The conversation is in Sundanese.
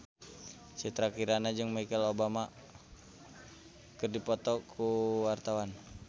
Citra Kirana jeung Michelle Obama keur dipoto ku wartawan